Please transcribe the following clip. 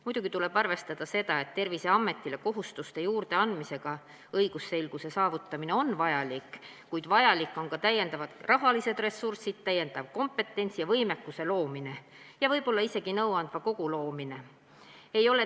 Muidugi tuleb arvestada seda, et Terviseametile kohustuste juurdeandmisega õigusselguse saavutamine on vajalik, kuid vaja on ka täiendavaid rahalisi ressursse, täiendava kompetentsi ja võimekuse loomist ning võib-olla isegi nõuandva kogu loomist.